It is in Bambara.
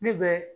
Ne bɛ